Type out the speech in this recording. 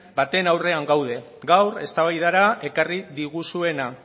baten aurrean gaude gaur eztabaidara ekarri diguzuena